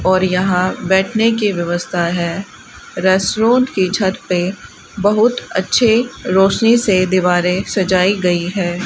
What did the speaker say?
और यहां बैठने की व्यवस्था है रेस्टोरेंट की छत पे बहुत अच्छे रोशनी से दीवारें सजाई गई हैं।